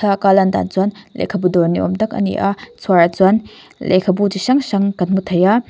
a lan dan chuanb lehkhabu dawr ni awm tak a ni a chhuarah chuan lehkhabu chi hrang hrang kan hmu thei a.